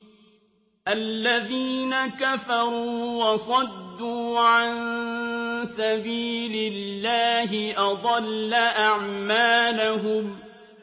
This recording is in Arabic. الَّذِينَ كَفَرُوا وَصَدُّوا عَن سَبِيلِ اللَّهِ أَضَلَّ أَعْمَالَهُمْ